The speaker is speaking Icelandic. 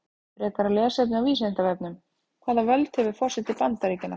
Frekara lesefni á Vísindavefnum: Hvaða völd hefur forseti Bandaríkjanna?